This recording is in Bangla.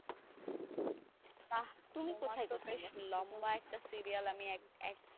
বাহ তোমার তো বেশ লম্বা একটা serial আমি এক,